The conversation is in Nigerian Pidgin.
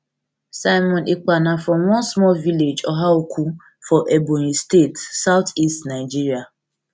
simon ekpa na from one small village ohaukwu for ebonyi state southeast nigeria